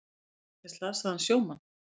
Sækja slasaðan sjómann